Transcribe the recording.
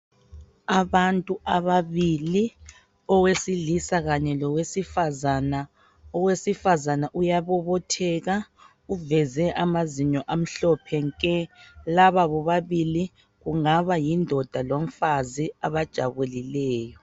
Abantu ababili , owesilisa kanye lowesifazana. Owesifazana uyabobotheka ,uveze amazinyo amhlophe nke .Laba bobabili kungaba yindoda lomfazi abajabulileyo.